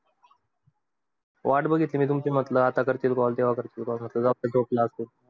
वाट बघितली तुमची म्हटलं आता करतील call म्हटल जाऊदे झोपला असेल.